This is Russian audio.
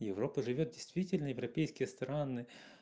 европа живёт действительно европейские страны